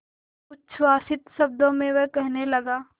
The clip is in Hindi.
उच्छ्वसित शब्दों में वह कहने लगा